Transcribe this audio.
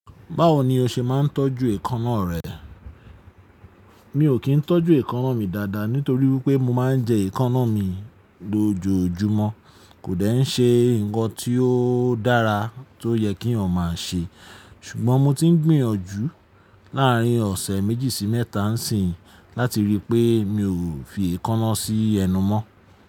Báwo ni o ṣe máa ń tọ́jú èékánná rẹ? Mi ò kí ń tọ́jú èékánná mi dáadáa nítorí wípé mo máa ń jẹ èékánná mi lójoojúmọ́. Kò dẹ̀ ń ṣe nǹkan tí ó dára tó yẹ kí eeyan máa ṣe. Ṣùgbọ́n mo ti ń gbìyànjú láàrín ọ̀sẹ̀ méjì sí mẹ́ta ń sìn láti ríi pé mi ò fi èékánná sí ẹnu mọ́.